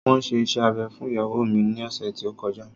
Wọn ṣe iṣẹ́ abẹ fún ìyàwó mi ní ọ̀sẹ̀ tí ó kọjá